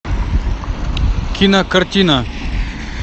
кинокартина